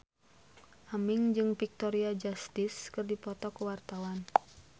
Aming jeung Victoria Justice keur dipoto ku wartawan